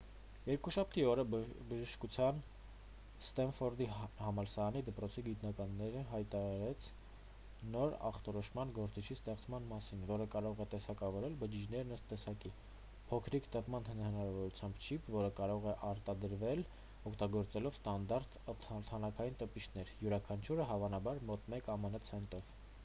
երկուշաբթի օրը բժշկության ստենֆորդի համալսարանի դպրոցի գիտնականները հայտարարեց նոր ախտորոշման գործիքի ստեղծման մասին որը կարող է տեսակավորել բջիջներն ըստ տեսակի փոքրիկ տպման հնարավորությամբ չիպ որը կարող է արտադրվել օգտագործելով ստանդարտ թանաքային տպիչներ յուրաքանչյուրը հավանաբար մոտ մեկ ամն ցենտով